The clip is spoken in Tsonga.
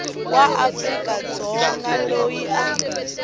wa afrika dzonga loyi a